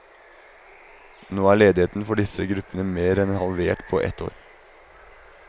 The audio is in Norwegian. Nå er ledigheten for disse gruppene mer enn halvert på ett år.